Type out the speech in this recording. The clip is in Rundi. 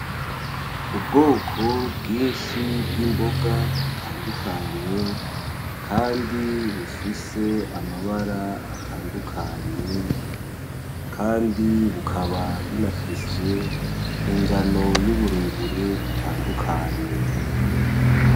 Ubwoko bwinshi bw'imboga butandukanye, kandi bufise amabara atandukanye, kandi bukaba bunafise ingano y'uburebure itandukanye .